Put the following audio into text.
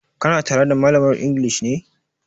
Ka na tare da malamar inglis ne?